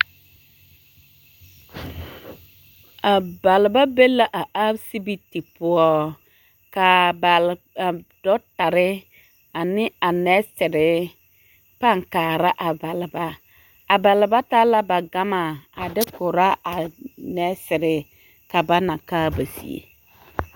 A baleba be la a asibiti poɔ k'a bal a dɔɔtare ane a nɛɛsere pãã kaara a baleba, a baleba taa la ba gama a de korɔ a nɛɛsere ka ba na kaa ba zie.